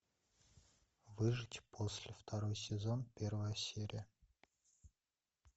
выжить после второй сезон первая серия